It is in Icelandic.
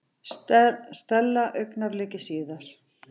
Stella augnabliki síðar.